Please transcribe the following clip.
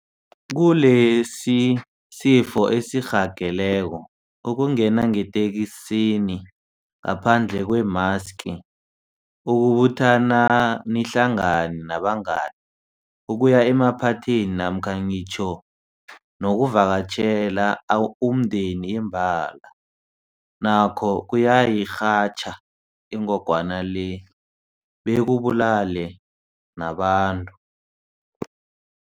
Kilesisifo esirhageleko, ukungena ngeteksini ngaphandle kwemaski, ukubuthana nihlangane nabangani, ukuya emaphathini namkha ngitjho nokuvakatjhela umndeni imbala, nakho kungayirhatjha ingogwana le bekubulale nabantu.